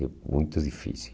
É muito difícil.